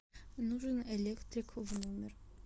нужен электрик в номер